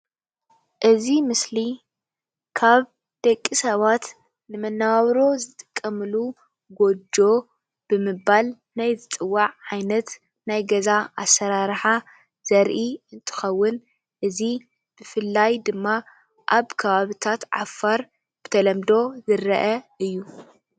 እዚ ምስሊ ካብ ደቂ ሰባት ንመነባብሮ ዝጥቀምሉ ጎጆ ብምባል ናይ ዝፅዋዕ ዓይነት ናይ ገዛ ኣሰራርሓ ዘርኢ እንትኸውን እዚ ብፍላይ ድማ ኣብ ከባቢታት ዓፋር ብተለምዶ ዝርአ እዩ።